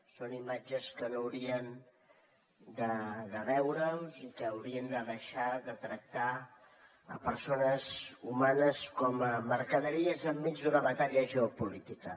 són imatges que no haurien de veure’s i que haurien de deixar de tractar persones humanes com a mercaderies enmig d’una batalla geopolítica